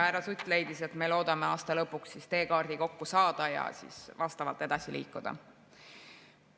Härra Sutt leidis, et me loodame aasta lõpuks teekaardi kokku saada ja siis edasi liikuda.